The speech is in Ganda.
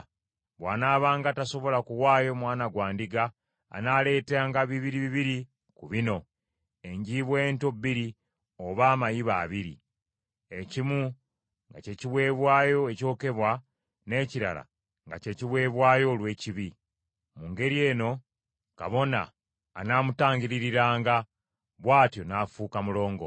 Bw’anaabanga tasobola kuwaayo mwana gwa ndiga, anaaleetanga bibiri bibiri ku bino: enjiibwa ento bbiri oba amayiba abiri, ekimu nga ky’ekiweebwayo ekyokebwa n’ekirala nga ky’ekiweebwayo olw’ekibi. Mu ngeri eno kabona anaamutangiririranga, bw’atyo n’afuuka mulongoofu.’ ”